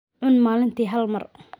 Cun maalintii hal mar.